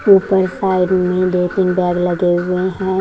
ऊपर साइड में दो तीन बेग लगे हुए है।